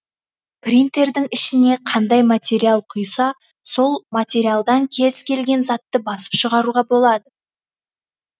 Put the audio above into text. принтердің ішіне қандай материал құйса сол материалдан кез келген затты басып шығаруға болады